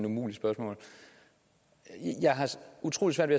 umuligt spørgsmål jeg har utrolig svært